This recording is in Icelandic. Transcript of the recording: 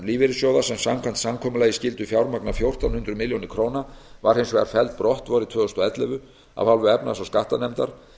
lífeyrissjóða sem samkvæmt samkomulagi skyldu fjármagna fjórtán hundruð milljóna króna var hins vegar felld brott vorið tvö þúsund og ellefu af hálfu efnahags og skattanefndar